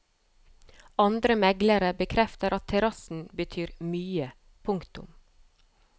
Andre meglere bekrefter at terrassen betyr mye. punktum